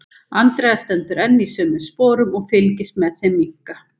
Andrea stendur enn í sömu sporum og fylgist með þeim minnka.